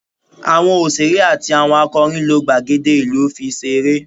Awọn oṣere ati awọn akọrin lo gbagede ilu fi se ere